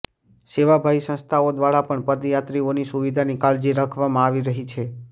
સેવાભાવી સંસ્થાઓ દ્વારા પણ પદયાત્રિઓની સુવિધાની કાળજી રાખવામાં આવી રહી છે